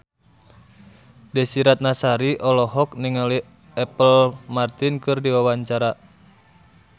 Desy Ratnasari olohok ningali Apple Martin keur diwawancara